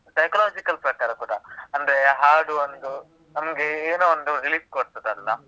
Psychological ಪ್ರಕಾರ ಕೂಡಅಂದ್ರೆ ಹಾಡು ಒಂದು ನಮ್ಗೆ ಏನೋ ಒಂದು relief ಕೊಡ್ತದಲ್ಲ?